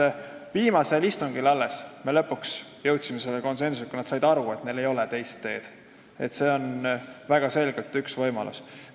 Alles viimasel istungil me lõpuks jõudsime konsensusele, nad said aru, et neil ei ole teist teed, et see on väga selgelt üks võimalus.